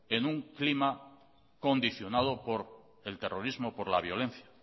en un clima condicionado por el terrorismo por la violencia